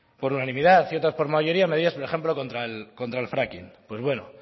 por unanimidad y otras por mayoría medidas por ejemplo contra el fracking pues bueno